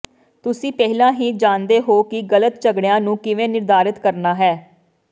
ਤੁਸੀਂ ਪਹਿਲਾਂ ਹੀ ਜਾਣਦੇ ਹੋ ਕਿ ਗਲਤ ਝਗੜਿਆਂ ਨੂੰ ਕਿਵੇਂ ਨਿਰਧਾਰਤ ਕਰਨਾ ਹੈ